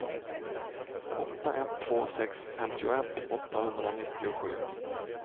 åtta ett två sex femtioett åttahundranittiosju